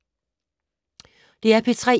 DR P3